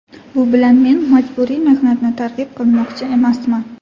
Bu bilan men majburiy mehnatni targ‘ib qilmoqchi emasman.